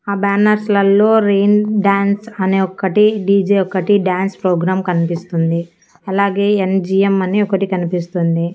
ఆ బ్యానర్స్ లల్లో rain dance అనే ఒక్కటి డీ_జే ఒక్కటి డాన్స్ ప్రోగ్రాం కన్పిస్తుంది అలాగే ఎన్_జి_ఎం అని ఒకటి కన్పిస్తుంది.